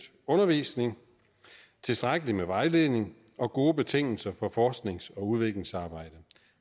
undervisning tilstrækkelig med vejledning og gode betingelser for forsknings og udviklingsarbejde